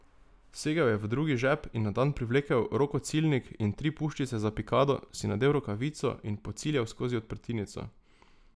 Segel je v drugi žep in na dan privlekel rokociljnik in tri puščice za pikado, si nadel rokavico in pociljal skozi odprtinico.